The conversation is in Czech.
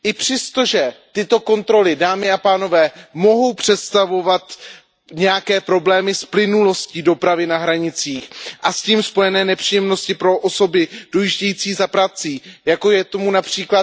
Přestože tyto kontroly, dámy a pánové, mohou představovat nějaké problémy s plynulostí dopravy na hranicích a s tím spojené nepříjemnosti pro osoby dojíždějící za prací, jako je tomu např.